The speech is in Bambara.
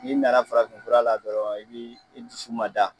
N'i nana farafin fura la dɔrɔn i bi i dusu ma da